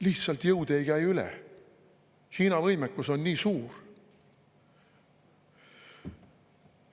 Lihtsalt jõud ei käi üle, Hiina võimekus on nii suur.